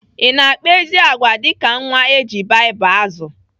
I na-akpa ezi agwà dịka nwa eji Baịbụl azụ?